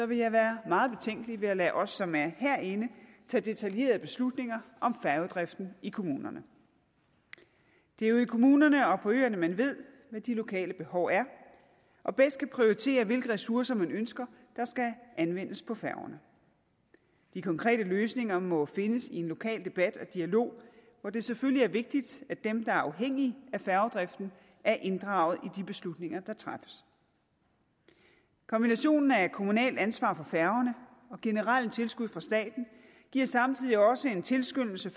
vil jeg være meget betænkelig ved at lade os som er herinde tage detaljerede beslutninger om færgedriften i kommunerne det er jo i kommunerne og på øerne man ved hvad de lokale behov er og bedst kan prioritere hvilke ressourcer man ønsker der skal anvendes på færgerne de konkrete løsninger må findes i en lokal debat og dialog hvor det selvfølgelig er vigtigt at dem der er afhængige af færgedriften er inddraget i de beslutninger der træffes kombinationen af kommunalt ansvar for færgerne og generelle tilskud fra staten giver samtidig også en tilskyndelse